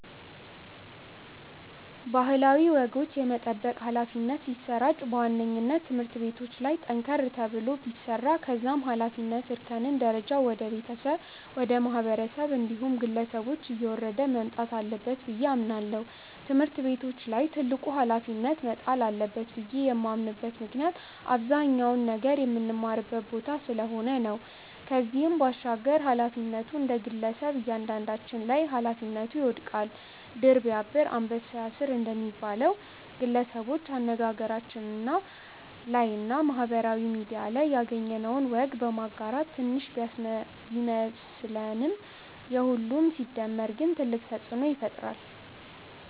ባህላዊ ወጎች የመጠበቅ ኃላፊነት ሲሰራጭ በዋነኝነት ትምህርት ቤቶች ላይ ጠንከር ተብሎ ቢሰራ ከዛም የኃላፊነት እርከን ደረጃው ወደ ቤተሰብ፣ ወደ ማህበረሰብ እንዲሁም ግለሰቦች እየወረደ መምጣት አለበት ብዬ አምናለው። ትምህርት ቤቶች ላይ ትልቁ ኃላፊነት መጣል አለበት ብዬ የማምንበት ምክንያት አብዛኛውን ነገር ምንማርበት ቦታ ስለሆነ ነው። ከዚህም ባሻገር ኃላፊነቱ እንደግለሰብ እያንዳንዳችን ላይ ኃላፊነቱ ይወድቃል። 'ድር ቢያብር አንበሳ ያስር' እንደሚባለው፣ ግለሰቦች አነጋገራችን ላይ እና ማህበራዊ ሚድያ ላይ ያገኘነውን ወግ በማጋራት ትንሽ ቢመስለንም የሁሉም ሲደመር ግን ትልቅ ተጽእኖ ይፈጥራል።